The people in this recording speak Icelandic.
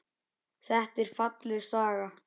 Þetta er falleg saga.